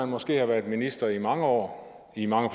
måske har været minister i mange år og i mange